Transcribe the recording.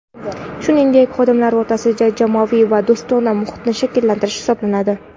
shuningdek xodimlar o‘rtasida jamoaviy va do‘stona muhitni shakllantirish hisoblanadi.